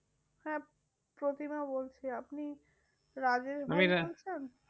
হ্যাঁ, প্রতিমা বলছি। আপনি রাজেশ ভাই বলছেন?